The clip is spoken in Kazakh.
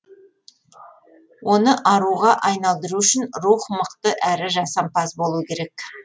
оны аруға айналдыру үшін рух мықты әрі жасампаз болу керек